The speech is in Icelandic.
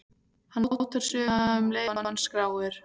Hann mótar söguna um leið og hann skráir.